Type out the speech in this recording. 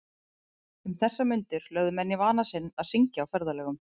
Um þessar mundir lögðu menn í vana sinn að syngja á ferðalögum.